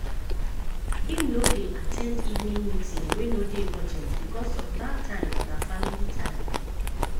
him no dey at ten d evening meeting wey no dey urgent becos of dat time na family time.